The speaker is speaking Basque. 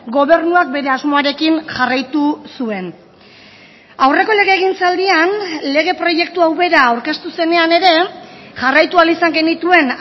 gobernuak bere asmoarekin jarraitu zuen aurreko legegintzaldian lege proiektu hau bera aurkeztu zenean ere jarraitu ahal izan genituen